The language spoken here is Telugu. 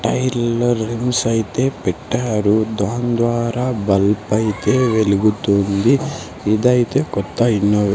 టైర్లో రిమ్స్ అయితే పెట్టారు దాని ద్వారా బల్బైతే వెలుగుతుంది ఇదైతే కొత్త ఇన్నోవే--